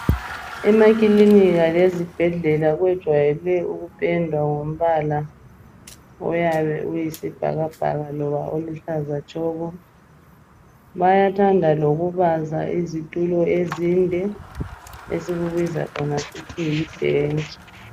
Emakilinika lezibhedlela kwejayele ukupendwa ngombala oyabe uyisibhakabhaka loba oluhlaza tshoko. Bayathanda lokubaza izitulo ezinde esikubiza thina sisithi libhentshi